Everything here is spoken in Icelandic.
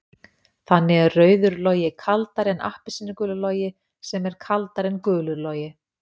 Þannig er rauður logi kaldari en appelsínugulur logi sem er kaldari en gulur logi.